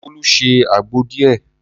Bolu se àgbo díẹ̀.